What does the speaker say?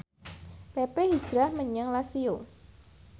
pepe hijrah menyang Lazio